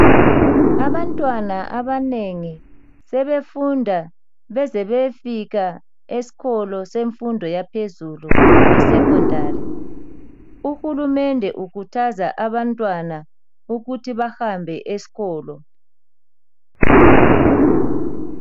Abantwana abanengi sebefunda beze beyefika esikolo semfundo yaphezulu e secondary. Uhulumende ukhuthaza abantwana ukuthi bahambe esikolo